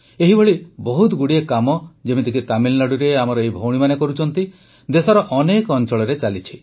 ଏହିଭଳି ବହୁତଗୁଡ଼ିଏ କାମ ଯେମିତିକି ତାମିଲନାଡ଼ୁରେ ଆମର ଏହି ଭଉଣୀମାନେ କରୁଛନ୍ତି ଦେଶର ଅନେକ ଅଂଚଳରେ ଚାଲିଛି